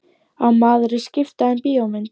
Á maður að skipta um bíómynd?